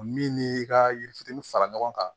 Min ni i ka yiri fitinin fara ɲɔgɔn kan